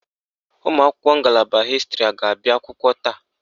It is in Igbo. Ụmụakwụkwọ ngalaba hịstịrị a ga-abịa akwụkwọ taa?